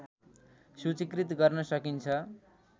सूचिकृत गर्न सकिन्छ